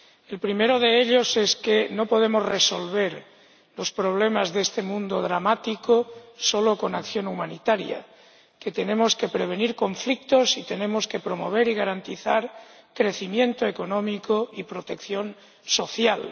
El primero de ellos es que no podemos resolver los problemas de este mundo dramático solo con acción humanitaria tenemos que prevenir conflictos y tenemos que promover y garantizar crecimiento económico y protección social.